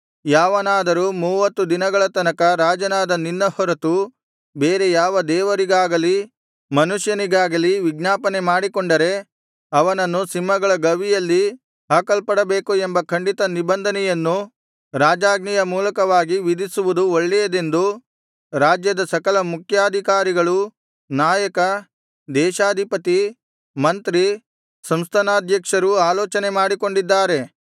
ಯಾವನಾದರೂ ಮೂವತ್ತು ದಿನಗಳ ತನಕ ರಾಜನಾದ ನಿನ್ನ ಹೊರತು ಬೇರೆ ಯಾವ ದೇವರಿಗಾಗಲಿ ಮನುಷ್ಯನಿಗಾಗಲಿ ವಿಜ್ಞಾಪನೆ ಮಾಡಿಕೊಂಡರೆ ಅವನನ್ನು ಸಿಂಹಗಳ ಗವಿಯಲ್ಲಿ ಹಾಕಲ್ಪಡಬೇಕು ಎಂಬ ಖಂಡಿತ ನಿಬಂಧನೆಯನ್ನು ರಾಜಾಜ್ಞೆಯ ರೂಪವಾಗಿ ವಿಧಿಸುವುದು ಒಳ್ಳೆಯದೆಂದು ರಾಜ್ಯದ ಸಕಲ ಮುಖ್ಯಾಧಿಕಾರಿ ನಾಯಕ ದೇಶಾಧಿಪತಿ ಮಂತ್ರಿ ಸಂಸ್ಥಾನಾಧ್ಯಕ್ಷರೂ ಆಲೋಚನೆ ಮಾಡಿಕೊಂಡಿದ್ದಾರೆ